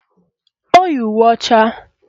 O yi uwe ọcha